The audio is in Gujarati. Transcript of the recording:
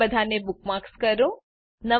તે બધાને બુકમાર્ક કરો